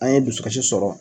An ye dusukasi sɔrɔ